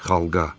Xalqa.